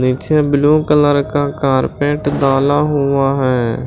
नीचे blue colour का carpet डाला हुआ है।